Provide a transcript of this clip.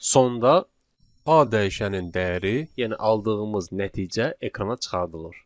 Sonda A dəyişənin dəyəri, yəni aldığımız nəticə ekrana çıxardılır.